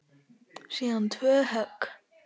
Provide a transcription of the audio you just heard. Síðan tvö högg.